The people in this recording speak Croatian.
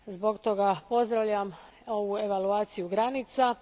Zbog toga pozdravljam ovu evaluaciju granica.